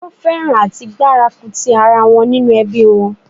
Wón fẹ́ràn àti gbárùkù tì ara wọn nínú ẹbí wọn